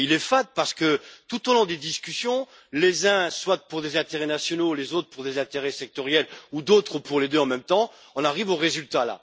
Il est fade parce que, tout au long des discussions, les uns pour des intérêts nationaux, les autres pour des intérêts sectoriels ou d'autres pour les deux en même temps, en arrivent à ces résultats.